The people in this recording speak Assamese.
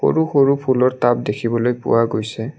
সৰু সৰু ফুলৰ টাব দেখিবলৈ পোৱা গৈছে।